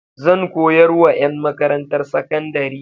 Zan koyar wa ƴan makarantar sakandari.